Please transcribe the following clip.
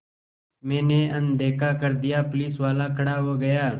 मैंने अनदेखा कर दिया पुलिसवाला खड़ा हो गया